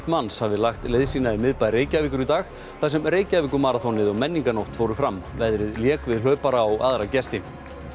manns hafi lagt leið sína í miðbæ Reykjavíkur í dag þar sem Reykjavíkurmaraþonið og menningarnótt fóru fram veðrið lék við hlaupara og aðra gesti